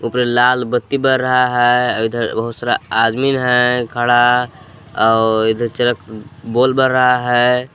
लाल बत्ती बल रहा है इधर बहुत सारा आदमी है खड़ा और इधर चरक बोल बर रहा है।